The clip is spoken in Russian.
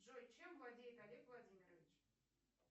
джой чем владеет олег владимирович